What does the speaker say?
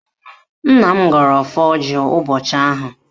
Nna m gọrọ ọfọ ọjị ụbọchị ahụ